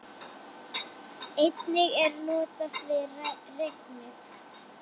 Einnig er notast við reknet.